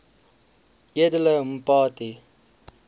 edele mpati